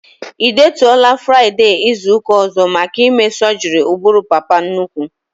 E detuola Fraịdee izuka ọzọ maka ime sọgri ụbụrụ papa nnukwu